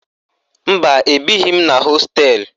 Mba, ebighi m na hosteelụ